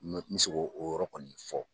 n bɛ se k'o yɔrɔ kɔni fɔ